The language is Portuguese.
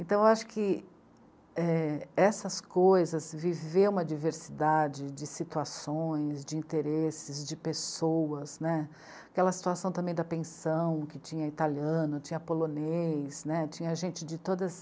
Então eu acho que, é... essas coisas, viver uma diversidade de situações, de interesses, de pessoas, né, aquela situação também da pensão, que tinha italiano, tinha polonês, né, tinha gente de todas